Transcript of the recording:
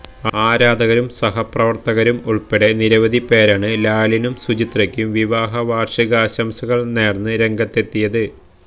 ആരാധകരും സഹപ്രവര്ത്തകരും ഉള്പ്പടെ നിരവധി പേരാണ് ലാലിനും സുചിത്രയ്ക്കും വിവാഹ വാര്ഷികാശംസകള് നേര്ന്ന് രംഗത്തെത്തിയത്